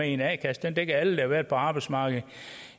en a kasse den dækkede alle der havde været på arbejdsmarkedet